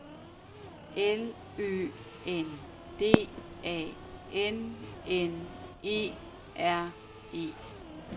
L Ø N D A N N E R E